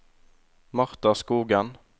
Martha Skogen